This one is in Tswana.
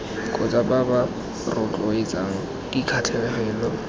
kgotsa ba ba rotloetsang dikgatlhegelo